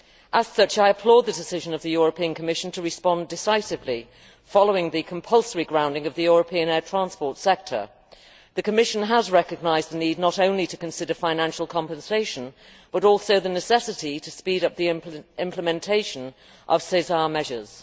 As such, I applaud the decision of the Commission to respond decisively following the compulsory grounding of the European air transport sector. The Commission has recognised the need not only to consider financial compensation, but also the necessity to speed up the implementation of SESAR measures.